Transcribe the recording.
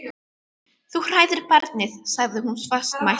Þú hræðir barnið, sagði hún fastmælt.